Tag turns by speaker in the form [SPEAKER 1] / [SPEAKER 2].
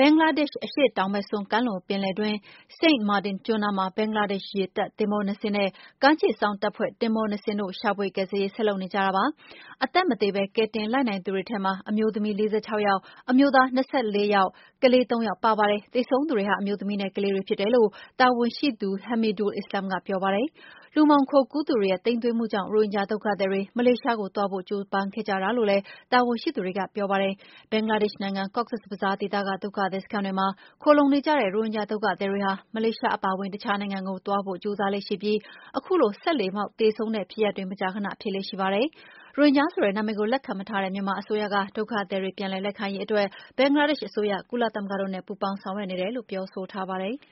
[SPEAKER 1] ဘင်္ဂလားဒေ့ရှ် အရှေ့တောင်ဘက်စွန်း ကမ်းလွန်ပင်လယ်တွင်း Saint Martin ကျွန်းနားမှာ ဘင်္ဂလားဒေ့ရှ် ရေတပ်သင်္ဘောနှစ်စင်းနဲ့ ကမ်းခြေစောင့်တပ်ဖွဲ့ သင်္ဘောနှစ်စင်းတို့ ရှာဖွေ ကယ်ဆယ်ရေး ဆက်လုပ်နေကြတာပါ။ အသက်မသေဘဲ ကယ်တင်လိုက်နိုင်သူတွေထဲမှာ အမျိုးသမီး ၄၆ ယောက်၊ အမျိုးသား ၂၄ ယောက်၊ ကလေးသုံးယောက်ပါပါတယ်။ သေဆုံးသူတွေဟာ အမျိုးသမီးနဲ့ ကလေးတွေ ဖြစ်တယ်လို့ တာဝန်ရှိသူ Hamidul Islam ကပြောပါတယ်။ လူမှောင်ခိုကူးသူတွေရဲ့ သိမ်းသွင်းမှုကြောင့် ရိုဟင်ဂျာဒုက္ခသည်တွေ မလေးရှားကိုသွားဖို့ ကြိုးပမ်းခဲ့ကြတာလို့လည်း တာဝန်ရှိသူတွေက ပြောပါတယ်။ ဘင်္ဂလားဒေ့ရှ်နိုင်ငံ၊ Cox’s Bazar ဒေသက ဒုက္ခသည်စခန်းတွေမှာ ခိုလှုံနေကြတဲ့ ရိုဟင်ဂျာ ဒုက္ခသည်တွေဟာ မလေးရှားအပါအဝင် တခြားနိုင်ငံတွေကိုသွားဖို့ ကြိုးစားကြလေ့ရှိပြီး အခုလို စက်လှေမှောက် သေဆုံးတဲ့ဖြစ်ရပ်တွေ မကြာခနဖြစ်လေ့ရှိပါတယ်။ ရိုဟင်ဂျာဆိုတဲ့ နာမည်ကို လက်ခံမထားတဲ့ မြန်မာအစိုးရက ဒုက္ခသည်တွေပြန်လည်လက်ခံရေးအတွက် ဘင်္ဂလားဒေ့ရှ်အစိုးရ၊ ကုလသမဂ္ဂတို့နဲ့ ပူးပေါင်း ဆောင်ရွက်နေတယ်လို့ ပြောထားပါတယ်။